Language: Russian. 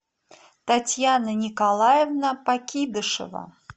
татьяна николаевна покидышева